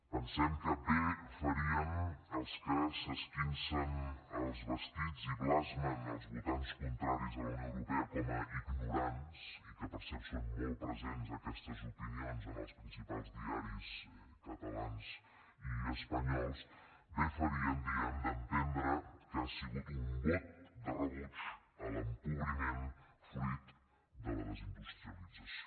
pensem que bé farien els que s’esquincen els vestits i blasmen els votants contraris a la unió europea com a ignorants i que per cert són molt presents aquestes opinions en els principals diaris catalans i espanyols bé farien diem d’entendre que ha sigut un vot de rebuig a l’empobriment fruit de la desindustrialització